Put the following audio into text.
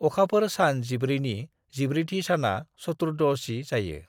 अखाफोर सान जिब्रैनि जिब्रैथि साना चतुर्दशी जायो ।